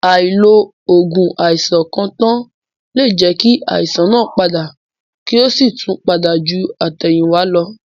Àìlo ògùn àìsàn kan tàn lẹ jẹ́ kí àìsàn náà padà kí ó sì tún pada ju àtẹ̀yìnwá lọ.